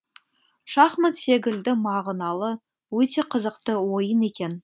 шахмат секілді мағыналы өте қызықты ойын екен